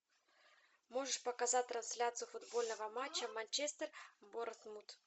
можешь показать трансляцию футбольного матча манчестер борнмут